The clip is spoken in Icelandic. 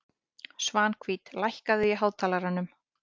Svanhvít, lækkaðu í hátalaranum.